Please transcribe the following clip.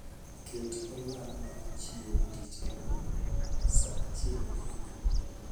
ket olang' mar chiewo tich ang'wen saa achiel okinyi